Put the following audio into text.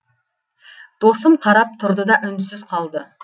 досым қарап тұрды да үнсіз қалды